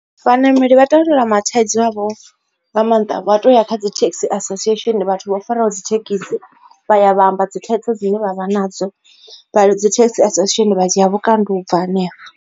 Vhanameli vha tandulula ma thaidzo avho nga maanḓa vha to ya kha dzi taxi association vhathu vho faraho dzi thekhisi vha ya vha amba dzi thaidzo dzine vha vha nadzo dzi taxi association vha dzhia vhukando u bva hanefha.